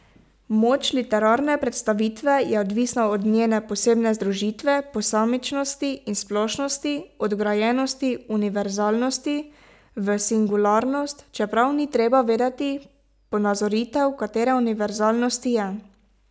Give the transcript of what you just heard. Moč literarne predstavitve je odvisna od njene posebne združitve posamičnosti in splošnosti, od vgrajenosti univerzalnosti v singularnost, čeprav ni treba vedeti, ponazoritev katere univerzalnosti je.